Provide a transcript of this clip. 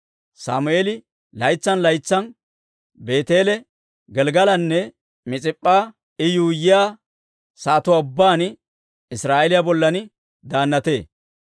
Sammeeli laytsan laytsan Beeteele, Gelggelanne Mis'ip'p'a I yuuyyiyaa sa'atuwaa ubbaan Israa'eeliyaa bollan daannatee.